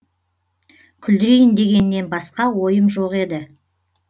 күлдірейін дегеннен басқа ойым жоқ еді